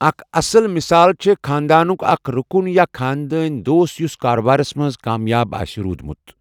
اَکھ اَصٕل مِثال چھےٚ خانٛدانُک اَکھ رُکُن یا خانٛدٲنۍ دوست یُس کارٕبارس منٛز کامیاب آسہِ روٗدمُت۔